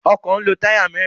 Ọkọ̀ ń lo táyà mẹ́ẹ́rin.